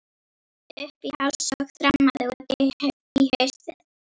Ég hneppti upp í háls og þrammaði út í haustið.